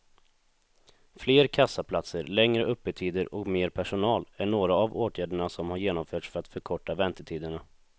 Fler kassaplatser, längre öppettider och mer personal är några av åtgärderna som har genomförts för att förkorta väntetiderna.